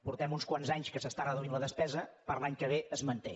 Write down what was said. fa uns quants anys que s’està reduint la despesa per a l’any que ve es manté